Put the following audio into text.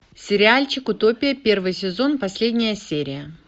сериальчик утопия первый сезон последняя серия